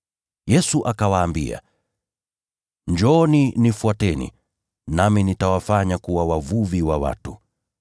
Yesu akawaambia, “Njooni, nifuateni nami nitawafanya mwe wavuvi wa watu.”